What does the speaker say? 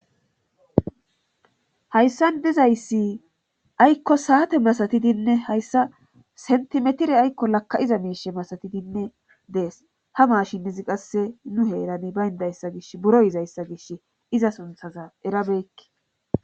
hayssan dizayssi aykko saate masatidinne hayssa sentimetire aykko lakka iza miishe masatidinne dees ha maashinnizi qasse nu heerani bayndayssa gish buro yizayssa gish iza sunthaza erabeekke